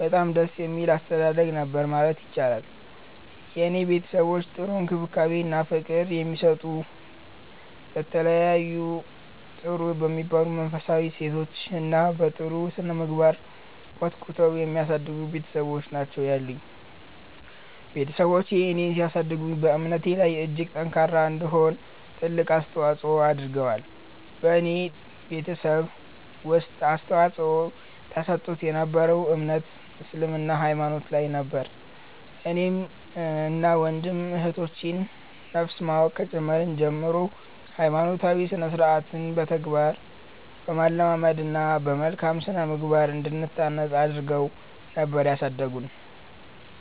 በጣም ደስ የሚል አስተዳደግ ነበር ማለት ይቻላል። የኔ ቤተሰቦች ጥሩ እንክብካቤ እና ፍቅር የሚሰጡ፤ በተለያዩ ጥሩ በሚባሉ መንፈሳዊ እሴቶች እና በ ጥሩ ስነምግባር ኮትኩተው የሚያሳድጉ ቤትሰቦች ናቸው ያሉኝ። ቤትሰቦቼ እኔን ሲያሳድጉ በእምነቴ ላይ እጅግ ጠንካራ እንድሆን ትልቅ አስተዋፆ አድርገዋል። በኔ ቤተሰብ ውስጥ አፅንዖት ተሰጥቶት የ ነበረው እምነት እስልምና ሃይማኖት ላይ ነበር። እኔን እና ወንድም እህቶቼ ን ነፍስ ማወቅ ከጀመርን ጀምሮ ሃይማኖታዊ ስርዓትን በተግባር በማለማመድ እና በመልካም ስነምግባር እንድንታነፅ አድረገው ነበር ያሳደጉን።